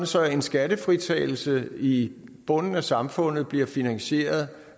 så en skattefritagelse i bunden af samfundet bliver finansieret